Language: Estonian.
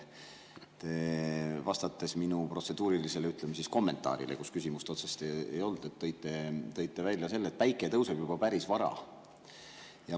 Vastates minu protseduurilisele, ütleme, kommentaarile, kus küsimust otseselt ei olnud, tõite välja selle, et päike tõuseb juba päris vara.